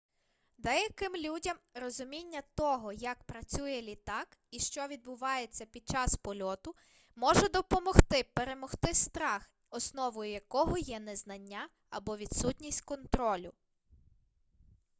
деяким людям розуміння того як працює літак і що відбувається під час польоту може допомогти перемогти страх основою якого є незнання або відсутність контролю